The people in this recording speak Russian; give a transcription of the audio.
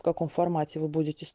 в каком формате вы будете